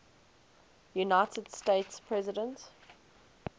united states president